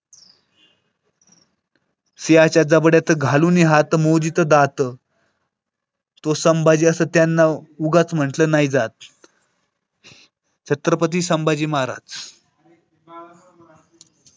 सिंहाच्या जबड्यात घालूनी हात मोजितो दात सिंहाच्या जबड्याछत्रपती संभाजी महाराज. त घालूनी हात मोजितो दात